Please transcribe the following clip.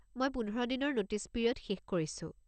মই পোন্ধৰ দিনৰ নোটিছ পিৰিয়ড শেষ কৰিছো।